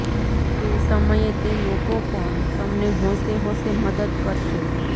તે સમયે તે લોકો પણ તમને હોંશે હોંશે મદદ કરશે